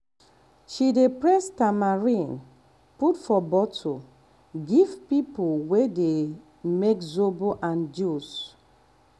um she dey press tamarind put for bottle give um people wey um dey make zobo and juice